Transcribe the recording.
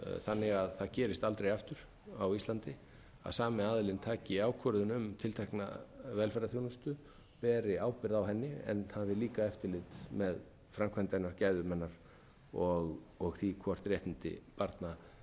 þannig að það gerist aldrei aftur á íslandi að sami aðilinn taki ákvörðun um tiltekna velferðarþjónustu beri ábyrgð á henni en hafi líka eftirlit með framkvæmd hennar gæðum hennar og því hvort réttindi barna séu